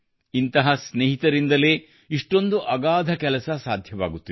ಇಂಥ ಸ್ನೇಹಿತರಿಂದಲೇ ಇಷ್ಟೊಂದು ಅಗಾಧ ಕೆಲಸ ಸಾಧ್ಯವಾಗುತ್ತಿದೆ